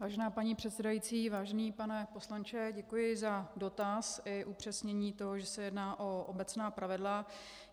Vážená paní předsedající, vážený pane poslanče, děkuji za dotaz i upřesnění toho, že se jedná o obecná pravidla.